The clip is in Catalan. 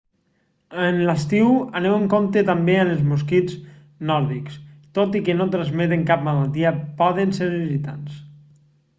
en l'estiu aneu amb compte també amb els mosquits nòrdics tot i que no transmeten cap malaltia poden ser irritants